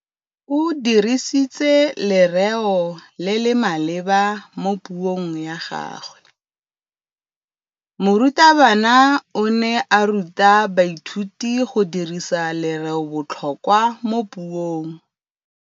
O dirisitse lerêo le le maleba mo puông ya gagwe. Morutabana o ne a ruta baithuti go dirisa lêrêôbotlhôkwa mo puong.